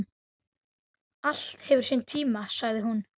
Allt hefur sinn tíma, sagði hún.